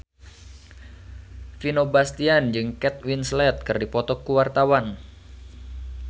Vino Bastian jeung Kate Winslet keur dipoto ku wartawan